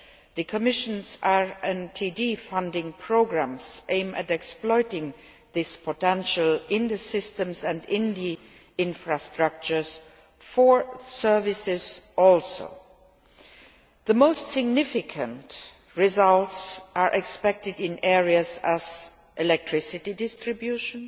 The Commission's RTD funding programmes aim to exploit this potential in the systems and infrastructures for services too. The most significant results are expected in areas such as electricity distribution,